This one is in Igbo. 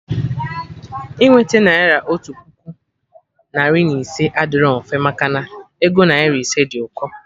Inweta naira otu puku, narị na ise adịrọ mfe, maka na ego naira ise dị ụkọ